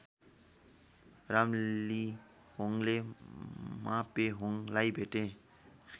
रामलिहोङले मापेहोङलाई भेटे